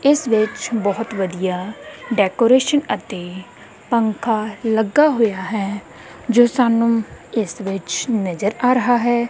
ਇਸ ਵਿੱਚ ਬਹੁਤ ਵਧੀਆ ਡੈਕੋਰੇਸ਼ਨ ਅਤੇ ਪੰਖਾ ਲੱਗਾ ਹੋਇਆ ਹੈ ਜੋ ਸਾਨੂੰ ਇਸ ਵਿੱਚ ਨਜ਼ਰ ਆ ਰਹਾ ਹੈ।